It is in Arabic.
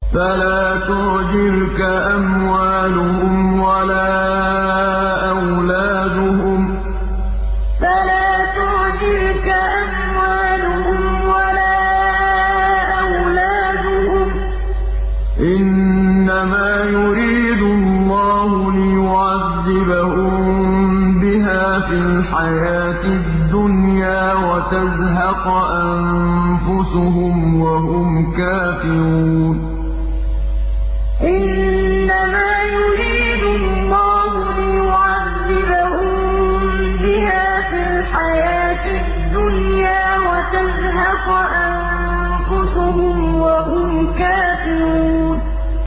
فَلَا تُعْجِبْكَ أَمْوَالُهُمْ وَلَا أَوْلَادُهُمْ ۚ إِنَّمَا يُرِيدُ اللَّهُ لِيُعَذِّبَهُم بِهَا فِي الْحَيَاةِ الدُّنْيَا وَتَزْهَقَ أَنفُسُهُمْ وَهُمْ كَافِرُونَ فَلَا تُعْجِبْكَ أَمْوَالُهُمْ وَلَا أَوْلَادُهُمْ ۚ إِنَّمَا يُرِيدُ اللَّهُ لِيُعَذِّبَهُم بِهَا فِي الْحَيَاةِ الدُّنْيَا وَتَزْهَقَ أَنفُسُهُمْ وَهُمْ كَافِرُونَ